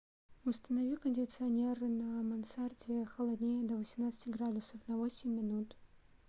установи кондиционер на мансарде холоднее до восемнадцати градусов на восемь минут